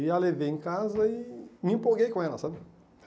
E a levei em casa e me empolguei com ela, sabe?